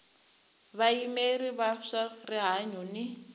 vayimeri va swa rihanyu ni